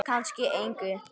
Kannski engu.